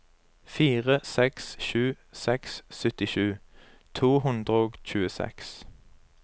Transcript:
fire seks sju seks syttisju to hundre og tjueseks